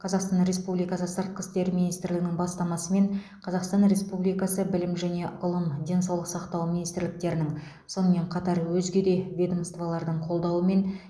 қазақстан республикасы сыртқы істер министрлігінің бастамасымен қазақстан республикасы білім және ғылым денсаулық сақтау министрліктерінің сонымен қатар өзге де ведомстволардың қолдауымен